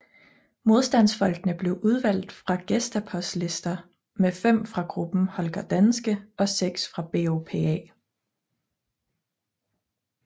Modstandsfolkene blev udvalgt fra Gestapos lister med fem fra gruppen Holger Danske og seks fra BOPA